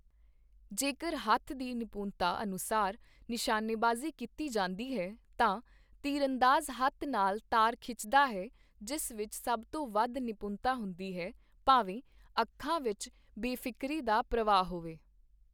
ਜੇਕਰ ਹੱਥ ਦੀ ਨਿਪੁੰਨਤਾ ਅਨੁਸਾਰ ਨਿਸ਼ਾਨੇਬਾਜ਼ੀ ਕੀਤੀ ਜਾਂਦੀ ਹੈ, ਤਾਂ ਤੀਰਅੰਦਾਜ਼ ਹੱਥ ਨਾਲ ਤਾਰ ਖਿੱਚਦਾ ਹੈ ਜਿਸ ਵਿੱਚ ਸਭ ਤੋਂ ਵੱਧ ਨਿਪੁੰਨਤਾ ਹੁੰਦੀ ਹੈ, ਭਾਵੇ ਅੱਖਾਂ ਵਿੱਚ ਬੇਫ਼ਿਕਰੀ ਦਾ ਪ੍ਰਵਾਹ ਹੋਵੇ।